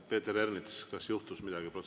Peeter Ernits, kas juhtus midagi?